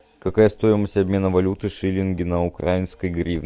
какая стоимость обмена валюты шиллинги на украинские гривны